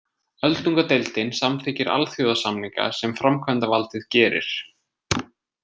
Öldungadeildin samþykkir alþjóðasamninga sem framkvæmdavaldið gerir.